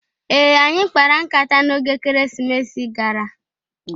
Ee! Anyị kpara nkata n'oge Ekeresimesi gara.